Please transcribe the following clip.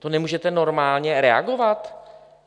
To nemůžete normálně reagovat?